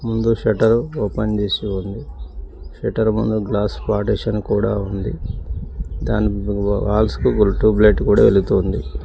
ముందు shutter open చేసి ఉంది షట్టర్ ముందు గ్లాస్ పార్టిషన్ కూడా ఉంది దాని ఆ హాల్స్ కు ట్యూబ్ లైట్ కూడా వెలుగుతూ ఉంది.